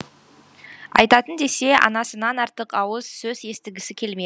айтайтын десе анасынан артық ауыз сөз естігісі келме